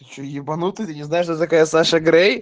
ты че ебанутый ты не знаешь кто такая саша грей